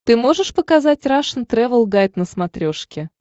ты можешь показать рашн тревел гайд на смотрешке